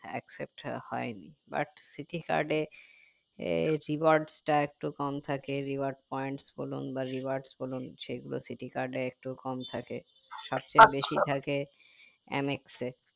except হয়নি but citi card এ এ rewards টা একটু কম থাকে rewards points বলুন বা rewards বলুন সেগুলো citi card এ একটু কম থাকে সব চেয়ে বেশি থাকে mx এ